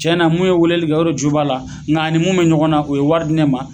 Cɛna mun ye weleli kɛ o de jo b'ala nga ani mun be ɲɔgɔn na o ye wari di ne ma